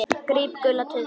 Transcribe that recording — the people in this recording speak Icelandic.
Gríp gula tuðru.